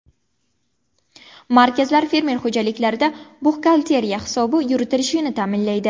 Markazlar fermer xo‘jaliklarida buxgalteriya hisobi yuritilishini ta’minlaydi.